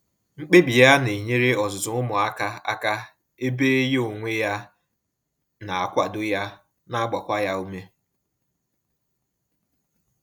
Mkpebi ya na enyere ọzụzụ umuaka aka, ebe ya onwe ya na akwado ya na agbakwa ya ume